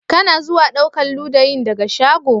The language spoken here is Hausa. Ka na zuwa ɗaukan ludayin daga shago?